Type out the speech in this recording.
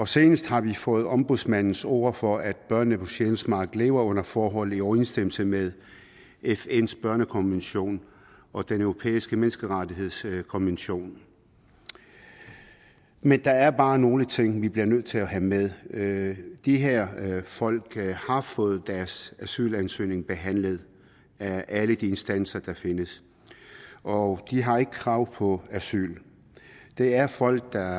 senest har vi fået ombudsmandens ord for at børnene på sjælsmark lever under forhold i overensstemmelse med fns børnekonvention og den europæiske menneskerettighedskonvention men der er bare nogle ting vi bliver nødt til at have med med de her folk har fået deres asylansøgning behandlet af alle de instanser der findes og de har ikke krav på asyl det er folk der